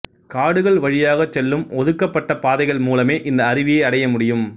காடுகள் வழியாகச் செல்லும் ஒதுக்கப்பட்ட பாதைகள் மூலமே இந்த அருவியை அடைய முடியும்